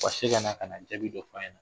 Ka se ka na ka na jabi dɔ fa ɲɛn na